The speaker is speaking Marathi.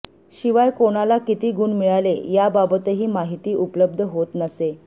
शिवाय कोणाला किती गुण मिळाले याबाबतही माहिती उपलब्ध होत नसे